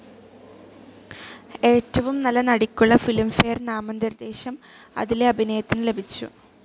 ഏറ്റവും നല്ല നടിയ്ക്കുള്ള ഫിലിം ഫെയർ നാമനിർദ്ദേശം അതിലെ അഭിനയത്തിന് ലഭിച്ചു.